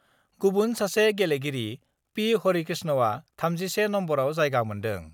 गुबुन सासे गेलेगिरि पि हरिकृष्णआ 31 नम्बरआव जायगा मोन्दों।